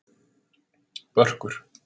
Börkur